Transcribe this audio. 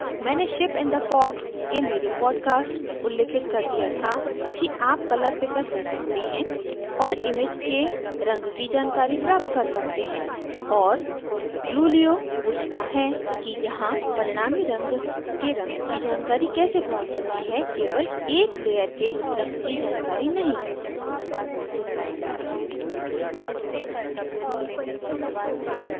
मैंने ship in the fog के मेरे podcast में उल्लिखित कर दिया था कि आप color picker ले सकते हैं और image के रंग की जानकारी प्राप्त कर सकते हैं और glulio glulio पूछता है कि यहाँ परिणामी रंग के रंग की जानकारी कैसे प्राप्त होती है केवल एक layer के रंग की जानकारी नहीं